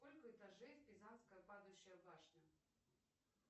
сколько этажей в пизанская падающая башня